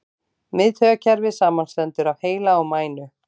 Miðtaugakerfið samanstendur af heila og mænu.